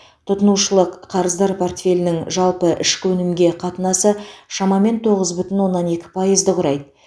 тұтынушылық қарыздар портфелінің жалпы ішкі өнімге қатынасы шамамен тоғыз бүтін оннан екі пайызды құрайды